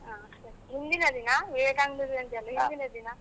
ಆ ಸರಿ, ಹಿಂದಿನ ದಿನ ವಿವೇಕಾನಂದ ಜಯಂತಿ ಅಲ್ಲ ಹಿಂದಿನ ದಿನ.